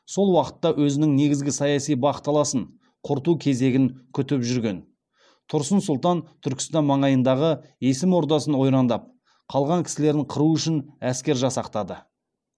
сол уақытта өзінің негізгі саяси бақталасын құрту кезегін көздеп жүрген тұрсын сұлтан түркістан маңайындағы есім ордасын ойрандап қалған кісілерін қыру үшін әскер жасақтады